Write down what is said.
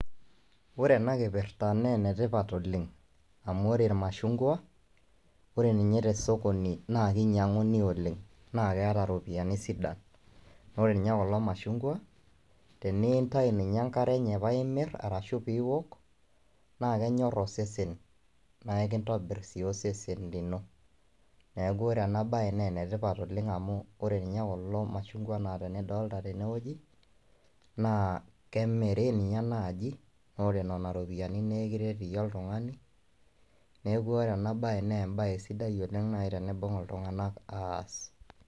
Wore ena kipirta naa enetipat oleng', amu wore ilmashungua, wore ninye tosokoni naa kinyianguni oleng', naa keeta iropiyani sidan. Wore ninye kulo machungwa, tenintayu ninye enkare enye paa imirr arashu pee iwok, naa kenyor osesen, naa enkitobirr sii osesen lino. Neeku wore ena baye naa enetipat oleng' amu wore ninye kulo machungwa lidolita tenewoji, naa kemiri ninye naaji, naa wore niana iropiyiani nikiret iyie oltungani, neeku wore ena baye naa embaye sidai oleng' naai teneibung iltunganak aas.